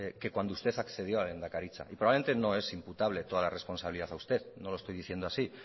que cuando usted accedió a la lehendakaritza y probablemente no es imputable toda la responsable a usted no lo estoy diciendo así